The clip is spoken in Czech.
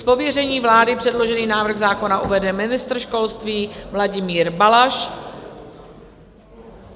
Z pověření vlády předložený návrh zákona uvede ministr školství Vladimír Balaš.